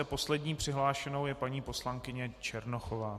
A poslední přihlášenou je paní poslankyně Černochová.